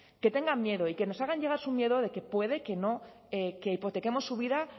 tengan miedo y que nos hagan llegar su miedo de que puede que hipotequemos su vida